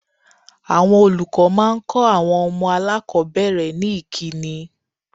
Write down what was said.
Àwọn olùkọ́ máa ń kọ àwọn ọmọ aláàkọ́bẹ̀rẹ̀ ní ìkíni.